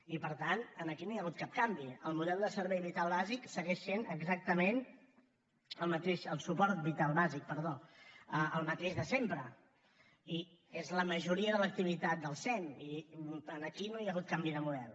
i per tant aquí no hi ha hagut cap canvi el model de suport vital bàsic segueix sent exactament el mateix de sempre i és la majoria de l’activitat del sem i aquí no hi ha hagut canvi de model